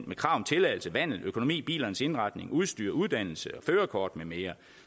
med krav om tilladelse vandel og økonomi bilernes indretning og udstyr uddannelse og førerkort med mere